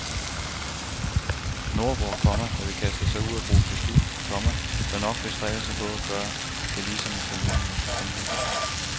Nordboer, komma der vil kaste sig ud i at bruge gestik, komma bør nok bestræbe sig på at gøre det lige som italienerne. punktum